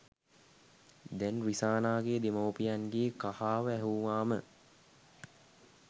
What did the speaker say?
දැන් රිසානාගේ දෙමව්පියන්ගේ කහාව ඇහුවාම